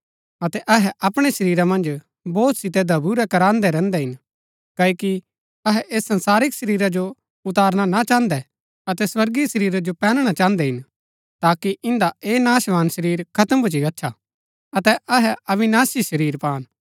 अतै अहै अपणै शरीरा मन्ज बोझ सितै दबुरै कराहन्दै रैहन्दै हिन क्ओकि अहै ऐस संसारिक शरीरा जो उतारना ना चाहन्दै अतै स्वर्गीय शरीरा जो पैहनणा चाहन्दै हिन ताकि इन्दा ऐह नाशवान शरीर खत्म भूच्ची गच्छा अतै अहै अविनाशी शरीर पान